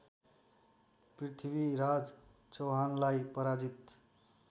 पृथ्वीराज चौहानलाई पराजित